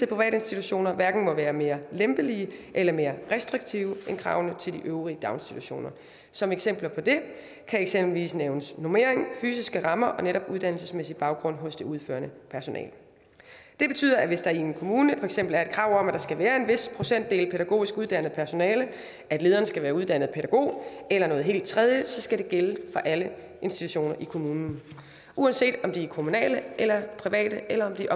private institutioner hverken må være mere lempelige eller mere restriktive end kravene til de øvrige daginstitutioner som eksempler på det kan eksempelvis nævnes normering fysiske rammer og netop uddannelsesmæssig baggrund hos det udførende personale det betyder at hvis der i en kommune for eksempel er et krav om at der skal være en vis procentdel pædagogisk uddannet personale at lederen skal være uddannet pædagog eller noget helt tredje så skal det gælde for alle institutioner i kommunen uanset om de er kommunale eller private eller om de